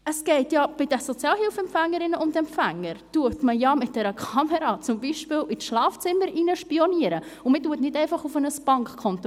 Bei den Sozialhilfeempfängerinnen und -empfängern spioniert man zum Beispiel mit einer Kamera ins Schlafzimmer, man schaut nicht einfach auf ein Bankkonto!